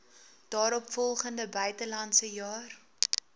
daaropvolgende buitelandse jaar